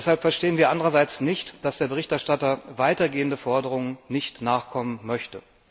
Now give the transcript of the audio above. Deshalb verstehen wir andererseits nicht, dass der Berichterstatter weiter gehenden Forderungen nicht nachkommen möchte.